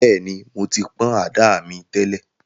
Bẹ́ẹ̀ni, mo ti pọ̀n àdá mi tẹ́lẹ̀